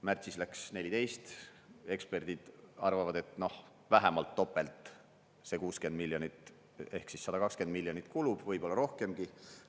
Märtsis läks 14, eksperdid arvavad, et noh, vähemalt topelt see 60 miljonit ehk 120 miljonit kulub, võib-olla rohkemgi.